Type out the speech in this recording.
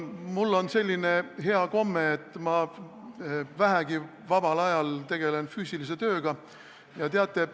Mul on selline hea komme, et kui ma vähegi saan, tegelen vabal ajal füüsilise tööga.